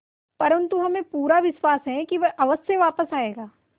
परंतु हमें पूरा विश्वास है कि वह अवश्य वापस आएगा